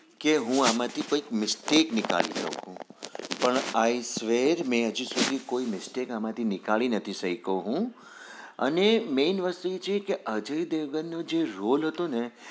કે હું આ માંથી કોઈ mistake નથી શક્યો હું પણ i were મેં હજુ mistake નથી શકયો હું અને main વસ્તુ છે કે અજય દેવગણ જે roll હતો ને